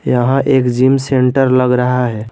यहां एक gym centre लग रहा है।